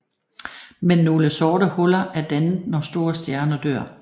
Men nogle sorte huller er dannet når store stjerner dør